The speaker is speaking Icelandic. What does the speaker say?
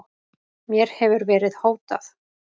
Mér hefur verið hótað